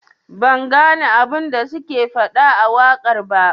Ban gane abun da suke fada a wakar ba.